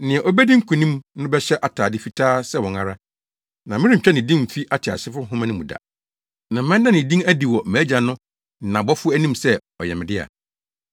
Nea obedi nkonim no bɛhyɛ atade fitaa sɛ wɔn ara, na merentwa ne din mfi ateasefo nhoma no mu da. Na mɛda ne din adi wɔ mʼAgya no ne nʼabɔfo anim sɛ ɔyɛ me dea.